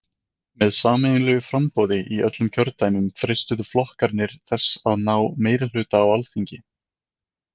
Með sameiginlegu framboði í öllum kjördæmum freistuðu flokkarnir þess að ná meirihluta á Alþingi.